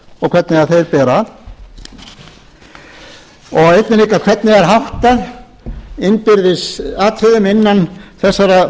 hvernig þeir bera að og einnig líka hvernig er háttað innbyrðis atriðum innan þessara